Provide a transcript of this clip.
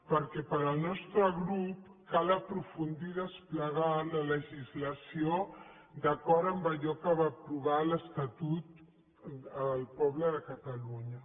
perquè per al nostre grup cal aprofundir i desplegar la legislació d’acord amb allò que va aprovar a l’estatut el poble de catalunya